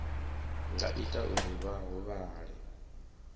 nga ita uri vha huvhale